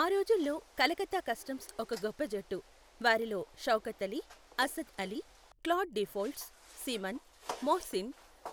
ఆ రోజుల్లో కలకత్తా కస్టమ్స్ ఒక గొప్ప జట్టు, వారిలో Shaukat Ali, Asad Ali, Claude Deefholts, Seaman, Mohsin,